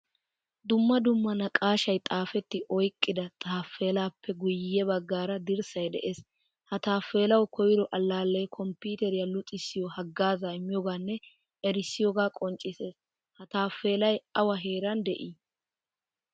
Dumma dumma naaqashshaay xaafetti oyqqida tappelappe guye baggaara dirssay de'ees. Ha tappelawu koyro allale kompiteeriya luxissiyo hagaaza immiyoganne erissiyoga qonccisses. Ha tappelay awa heeran de'i?